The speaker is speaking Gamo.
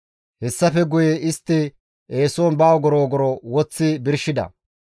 Hessafe guye istti eeson ba ogoro ogoro woththi birshida.